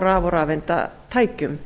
raf og rafeindatækjum